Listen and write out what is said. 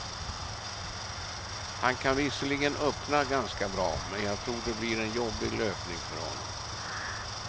Han kan visserligen öppna ganska bra, men jag tror det blir en jobbig löpning för honom.